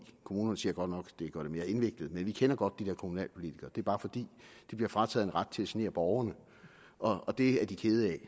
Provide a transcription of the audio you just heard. kommunerne siger godt nok det gør det mere indviklet men vi kender godt de der kommunalpolitikere og er bare fordi de bliver frataget en ret til at genere borgerne og det er de kede af